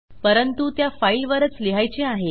परंतु त्या फाईलवरच लिहायचे आहे